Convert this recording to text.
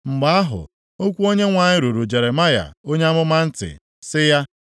Mgbe ahụ, okwu Onyenwe anyị ruru Jeremaya onye amụma ntị sị ya,